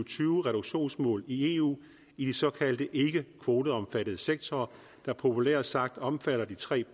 tyve reduktionsmål i eu i de såkaldte ikkekvoteomfattede sektorer der populært sagt omfatter de tre